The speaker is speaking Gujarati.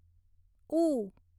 ઉ